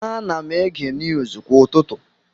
Ana m ege niuuzu kwa ụtụtụ.